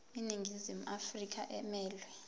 iningizimu afrika emelwe